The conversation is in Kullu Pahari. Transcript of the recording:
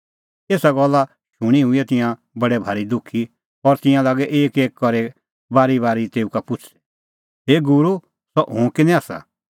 एसा गल्ला शूणीं हुऐ तिंयां हुऐ बडै भारी दुखी और तिंयां लागै एकएक करी करै बारीबारी तेऊ का पुछ़दै हे गूरू सह हुंह किनी आसा